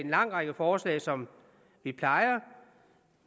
lang række forslag som vi plejer